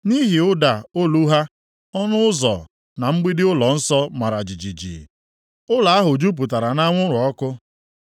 Nʼihi ụda olu ha, ọnụ ụzọ na mgbidi ụlọnsọ mara jijiji, ụlọ ahụ jupụtara nʼanwụrụ ọkụ.